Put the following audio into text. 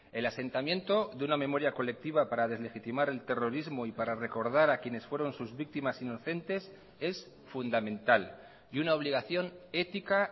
el asentamiento de una memoria colectiva para deslegitimar el terrorismo y para recordar a quienes fueron sus víctimas inocentes es fundamental y una obligación ética